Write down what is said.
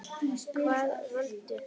Hvaða völd?